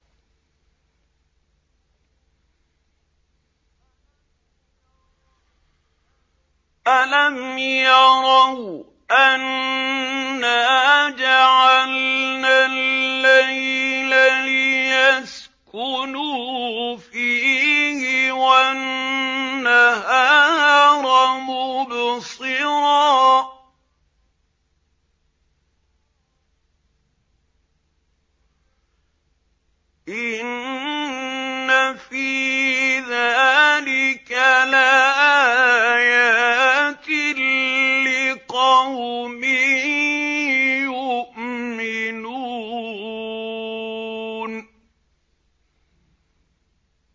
أَلَمْ يَرَوْا أَنَّا جَعَلْنَا اللَّيْلَ لِيَسْكُنُوا فِيهِ وَالنَّهَارَ مُبْصِرًا ۚ إِنَّ فِي ذَٰلِكَ لَآيَاتٍ لِّقَوْمٍ يُؤْمِنُونَ